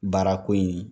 Baarako in